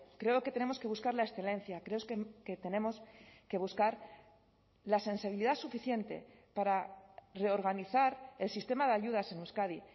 creo que tenemos que buscar la excelencia creo que tenemos que buscar la sensibilidad suficiente para reorganizar el sistema de ayudas en euskadi